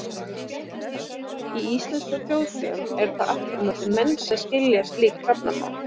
Í íslenskum þjóðsögum eru það aftur á móti menn sem skilja hrafnamál.